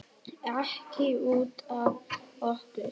Ekki út af okkur.